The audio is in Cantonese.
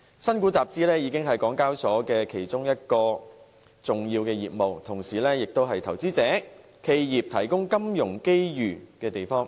新股集資已是港交所其中一項重要業務，同時也為投資者、企業提供金融機遇的地方。